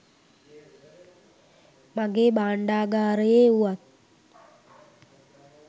මගේ භාණ්ඩාගාරයේ වුවත්